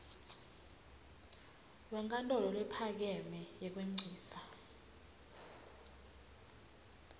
wenkantolo lephakeme yekwengcisa